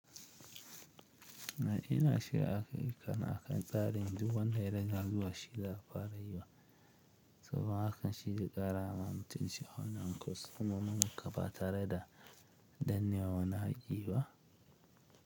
Na ina shiga aka yi kan akan tsarin duk wanda ya ranga zuwa shi da fara yiwa. Saboda hakan shi ya ƙara ma mutunci hanyar kaso, mummunan kafa tare da dannewa wani haki bah.